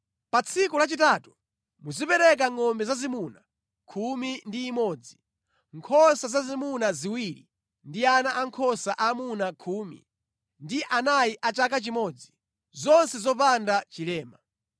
“ ‘Pa tsiku lachitatu muzipereka ngʼombe zazimuna khumi ndi imodzi, nkhosa zazimuna ziwiri ndi ana ankhosa aamuna khumi ndi anayi a chaka chimodzi, zonse zopanda chilema.